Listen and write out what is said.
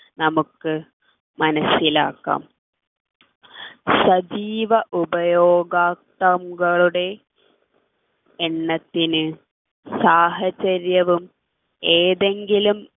നമുക്ക് മനസ്സിലാക്കാം സജീവ ഉപയോഗക്തങ്ങളുടെ എണ്ണത്തിനു സാഹചര്യവും ഏതെങ്കിലും